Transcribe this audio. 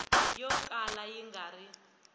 yo kala yi nga ri